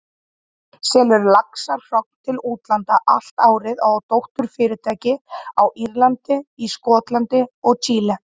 selur laxahrogn til útlanda allt árið og á dótturfyrirtæki á Írlandi, í Skotlandi og Chile.